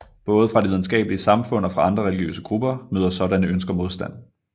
Både fra det videnskabelige samfund og fra andre religiøse grupper møder sådanne ønsker modstand